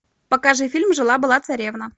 покажи фильм жила была царевна